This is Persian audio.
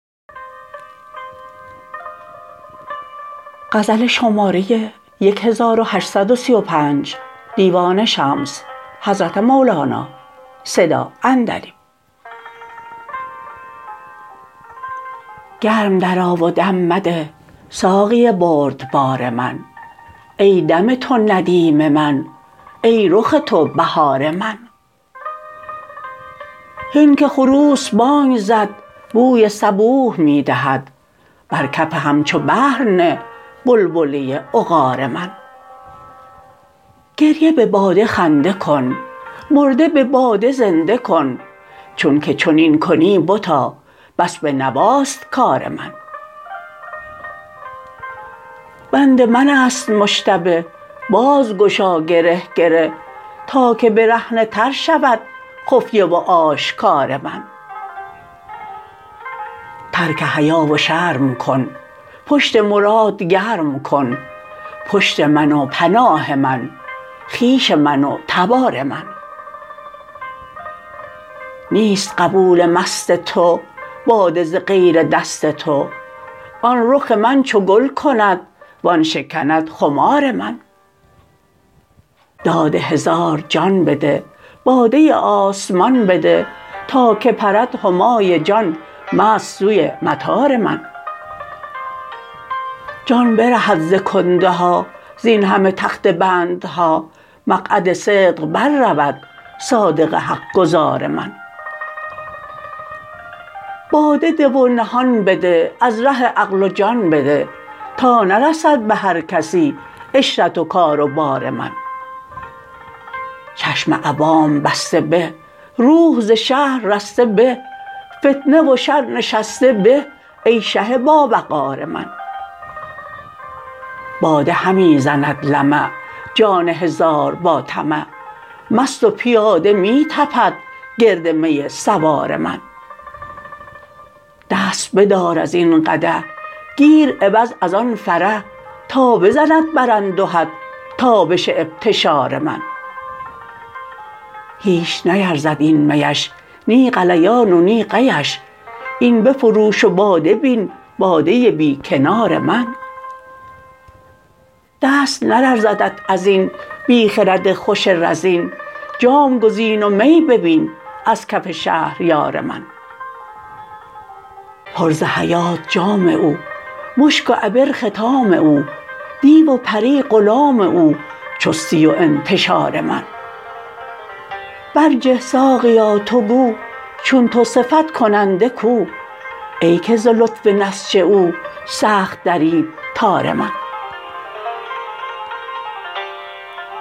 گرم درآ و دم مده ساقی بردبار من ای دم تو ندیم من ای رخ تو بهار من هین که خروس بانگ زد بوی صبوح می دهد بر کف همچو بحر نه بلبله عقار من گریه به باده خنده کن مرده به باده زنده کن چونک چنین کنی بتا بس به نواست کار من بند من است مشتبه باز گشا گره گره تا که برهنه تر شود خفیه و آشکار من ترک حیا و شرم کن پشت مراد گرم کن پشت من و پناه من خویش من و تبار من نیست قبول مست تو باده ز غیر دست تو آن رخ من چو گل کند وان شکند خمار من داد هزار جان بده باده آسمان بده تا که پرد همای جان مست سوی مطار من جان برهد ز کنده ها زین همه تخته بندها مقعد صدق بررود صادق حق گزار من باده ده و نهان بده از ره عقل و جان بده تا نرسد به هر کسی عشرت و کار و بار من چشم عوام بسته به روح ز شهر رسته به فتنه و شر نشسته به ای شه باوقار من باده همی زند لمع جان هزار با طمع مست و پیاده می تپد گرد می سوار من دست بدار از این قدح گیر عوض از آن فرح تا بزند بر اندهت تابش ابتشار من هیچ نیرزد این میش نی غلیان و نی قیش این بفروش و باده بین باده بی کنار من دست نلرزدت از این بی خرد خوش رزین جام گزین و می ببین از کف شهریار من پر ز حیات جام او مشک و عبر ختام او دیو و پری غلام او چستی و انتشار من برجه ساقیا تو گو چون تو صفت کننده کو ای که ز لطف نسج او سخت درید تار من